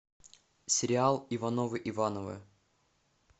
сериал ивановы ивановы